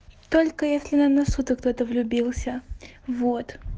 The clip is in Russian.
только если на носу то кто-то влюбился вот